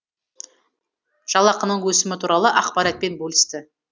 жалақының өсімі туралы ақпаратпен бөлісті